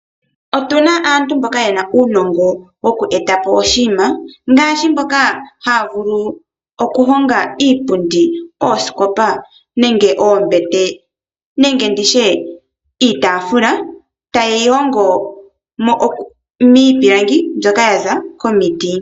Otuna aantu mboka yena uunongo woku etapo oshininma gaashi mboka haya vulu okuhonga iipundi, oosikop nenge oombete nenge nditye iitaafula ta yeyi hongo miipilangi mbyoka yaza komiti.